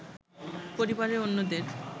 পরিবারের অন্যদের